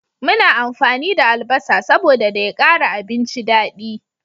Muna amfani da albasa saboda da ya kara abinci dadi